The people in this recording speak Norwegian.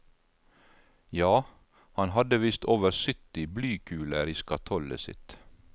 Ja, han hadde visst over sytti blykuler i skatollet sitt.